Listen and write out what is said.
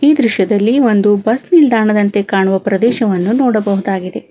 ಈ ದೃಶ್ಯದಲ್ಲಿ ಒಂದು ಬಸ್ ನಿಲ್ದಾಣದಂತೆ ಕಾಣುವ ಪ್ರದೇಶವನ್ನು ನೋಡಬಹುದಾಗಿದೆ.